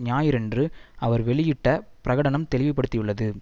ஞாயிறன்று அவர் வெளியிட்ட பிரகடனம் தெளிவுபடுத்தியுள்ளது